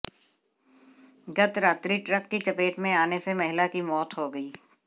गत रात्रि ट्रक की चपेट में आने से महिला की मौत हो गई